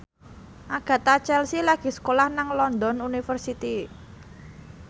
Agatha Chelsea lagi sekolah nang London University